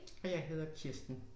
Og jeg hedder Kirsten